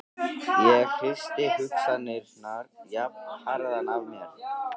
Ég hristi hugsanirnar jafnharðan af mér.